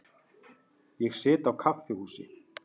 Ég sit á kaffihúsi.